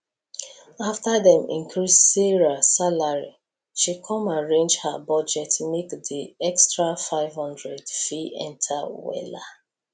after dem increse sarah salary she com arrange her budget make di extra 500 fit enter wella